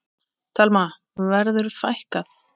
Telma: Verður fækkað?